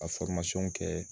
A kɛ